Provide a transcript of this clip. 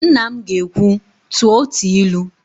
Nna m ga-ekwu, "tụọ otu ilu"!